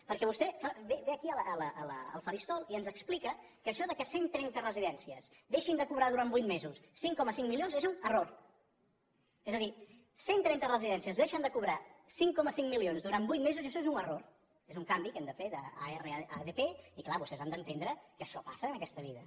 perquè vostè ve aquí al faristol i ens explica que això que cent trenta residències deixin de cobrar durant vuit mesos cinc coma cinc milions és un error és a dir cent trenta residències deixen de cobrar cinc coma cinc milions durant vuit mesos i això és un error és un canvi que hem de fer d’ar a dp i clar vostès han d’entendre que això passa en aquesta vida